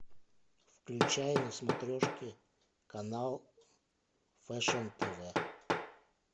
включай на смотрешке канал фэшн тв